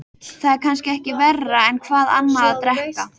Það er kannski ekki verra en hvað annað að drekka.